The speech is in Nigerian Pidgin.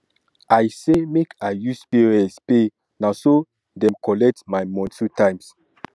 i say make i use pos pay na so dem collect my moni two times